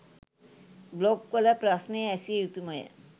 blog වල ප්‍රශ්න ඇසිය යුතුමය